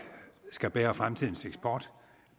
skal bære fremtidens eksport